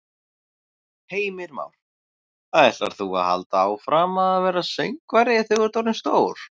Heimir Már: Ætlar þú að halda áfram að verða söngvari þegar þú ert orðinn stór?